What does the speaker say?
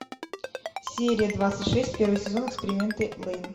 серия двадцать шесть первый сезон эксперименты лейн